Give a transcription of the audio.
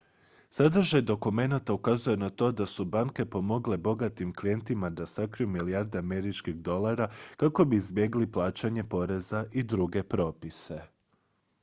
sadržaj dokumenata ukazuje na to da su banke pomogle bogatim klijentima da sakriju milijarde američkih dolara kako bi izbjegli plaćanje poreza i druge propise